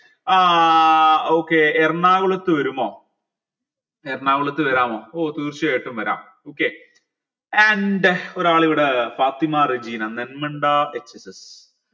ഏർ okay എറണാകുളത്ത് വരുമോ എറണാകുളത്ത് വരാമോ ഓ തീർച്ചയായിട്ടും വരാം okay and ഒരാളിവിടെ ഫാത്തിമ റജീന നന്മണ്ട